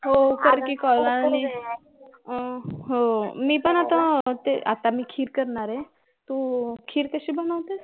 हो कर कि call आणि हम्म हो मी पण आता ते खीर करणार आहे तू खीर कशी बनवतेस